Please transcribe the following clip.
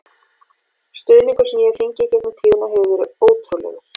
Stuðningurinn sem ég hef fengið í gegnum tíðina hefur verið ótrúlegur.